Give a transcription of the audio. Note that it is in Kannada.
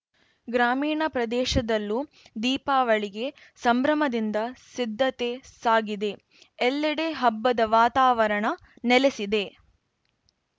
ಗ್ರಾಮೀಣ ಪ್ರದೇಶದಲ್ಲೂ ದೀಪಾಳಿಗೆ ಸಂಭ್ರಮದಿಂದ ಸಿದ್ಧತೆ ಸಾಗಿದೆ ಎಲ್ಲೆಡೆ ಹಬ್ಬದ ವಾತಾವರಣ ನೆಲೆಸಿದೆ